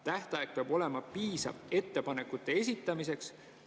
Tähtaeg peab olema piisav ettepanekute esitamiseks.